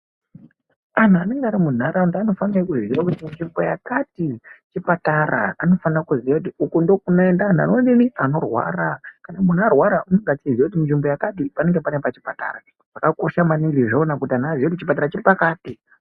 Anhu anenge arimunharanda anofane kuziya kuti nzvimbo yakati chipata , anofane kuziya kuti uku ndokunoenda anhu anorwara, kana munhu arwara unenge achiziya kuti nzvimbo yakati panenge pane pachipatara. Zvakakosha maningi kuti anhu aziye kuti chipatara chiripakati.